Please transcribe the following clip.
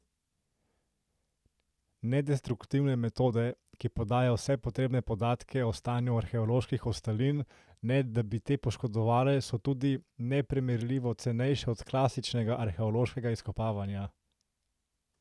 Nedestruktivne metode, ki podajo vse potrebne podatke o stanju arheoloških ostalin, ne da bi te poškodovale, so tudi neprimerljivo cenejše od klasičnega arheološkega izkopavanja.